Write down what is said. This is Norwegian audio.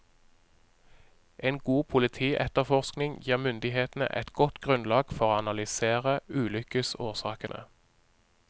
En god politietterforskning gir myndighetene et godt grunnlag for å analysere ulykkesårsakene.